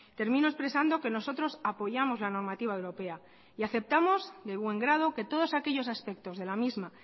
termino expresando que nosotros apoyamos la normativa europea y aceptamos de buen grado que todos aquellos aspectos de la misma